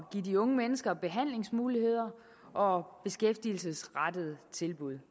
de unge mennesker behandlingsmuligheder og beskæftigelsesrettede tilbud